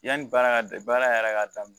Yanni baara ka baara yɛrɛ ka daminɛ